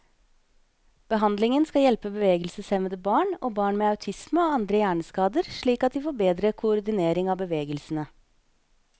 Behandlingen skal hjelpe bevegelseshemmede barn, og barn med autisme og andre hjerneskader slik at de får bedre koordinering av bevegelsene.